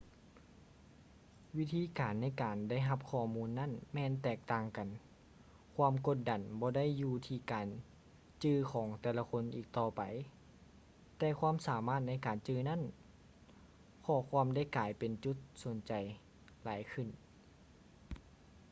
ວິທີການໃນການໄດ້ຮັບຂໍ້ມູນນັ້ນແມ່ນແຕກຕ່າງກັນ ຄວາມກົດດັນບໍ່ໄດ້ຢູ່ທີ່ການຈື່ຂອງແຕ່ລະຄົນອີກຕໍ່ໄປ ແຕ່ຄວາມສາມາດໃນການຈື່ນັ້ນຂໍ້ຄວາມໄດ້ກາຍເປັນຈຸດສົນໃຈຫຼາຍຂຶ້ນ